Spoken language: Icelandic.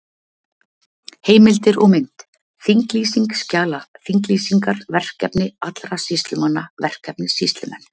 Heimildir og mynd: Þinglýsing skjala Þinglýsingar Verkefni allra sýslumanna Verkefni Sýslumenn.